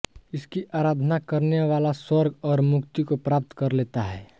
इसकी आराधना करने वाला स्वर्ग और मुक्ति को प्राप्त कर लेता है